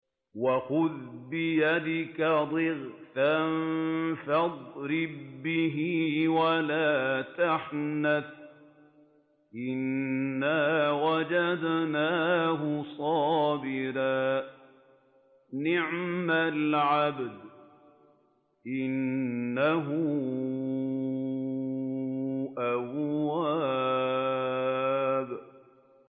وَخُذْ بِيَدِكَ ضِغْثًا فَاضْرِب بِّهِ وَلَا تَحْنَثْ ۗ إِنَّا وَجَدْنَاهُ صَابِرًا ۚ نِّعْمَ الْعَبْدُ ۖ إِنَّهُ أَوَّابٌ